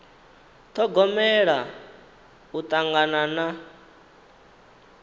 ṱhogomela u tangana na